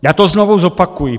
Já to znovu zopakuji.